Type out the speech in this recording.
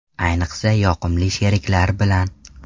Ayniqsa yoqimli sheriklar bilan.